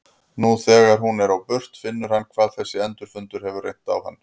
Nú þegar hún er á burt finnur hann hvað þessir endurfundir hafa reynt á hann.